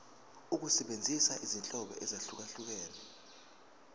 ukusebenzisa izinhlobo ezahlukehlukene